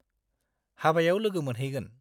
हाबायाव लोगो मोनहैगोन!